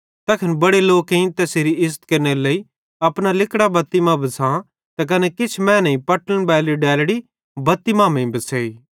तैखन बड़े लोकेईं तैसेरी इज़्ज़त केरनेरे लेई अपना लिगड़ां बत्ती मां बिछ़ां त कने किछ मैनेईं पट्लनबाली डैलड़ी एन्तां बत्ती मां बिछ़ेई